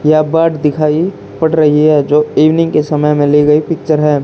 ये बर्ड दिखाई पड़ रही है। जो इवनिंग के समय में ली हुई पिक्चर है।